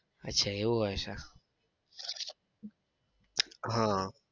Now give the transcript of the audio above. અચ્છા એવું હોય છે આહ